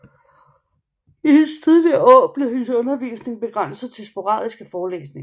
I hendes tidligere år blev hendes undervisning begrænset til sporadiske forelæsninger